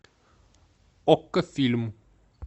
окко фильм